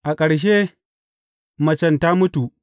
A ƙarshe, macen ta mutu.